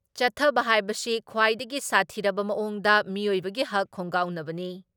ꯆꯠꯊꯕ ꯍꯥꯏꯕꯁꯤ ꯈ꯭ꯋꯥꯏꯗꯒꯤ ꯁꯥꯊꯤꯔꯕ ꯃꯑꯣꯡꯗ ꯃꯤꯑꯣꯏꯕꯒꯤ ꯍꯛ ꯈꯣꯡꯒꯥꯎꯅꯕꯅꯤ ꯫